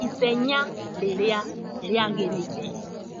Ithenya rĩrĩa rĩagĩrĩire